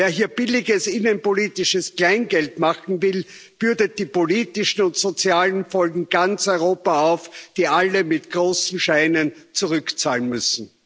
Wer hier billiges innenpolitisches Kleingeld machen will, bürdet die politischen und sozialen Folgen ganz Europa auf, die alle mit großen Scheinen zurückzahlen müssen.